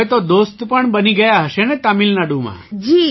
તો હવે તો દોસ્ત પણ બની ગયા હશે ને તમિલનાડુમાં